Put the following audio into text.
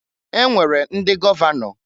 E nwere ndị gọvanọ.